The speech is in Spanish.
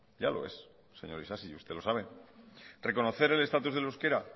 ya lo es señor isasi y usted lo sabe reconocer el estatus del euskera